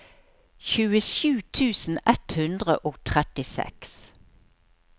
tjuesju tusen ett hundre og trettiseks